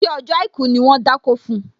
Ṣé ọjọ́ àìkú ni wón dákó fun?